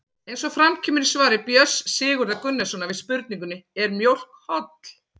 Eins og fram kemur í svari Björns Sigurðar Gunnarssonar við spurningunni Er mjólk holl?